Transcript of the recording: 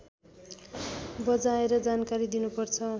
बजाएर जानकारी दिनुपर्छ